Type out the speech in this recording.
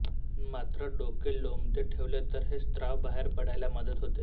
मात्र डोके लोंबते ठेवले तर हे स्राव बाहेर पडायला मदत होते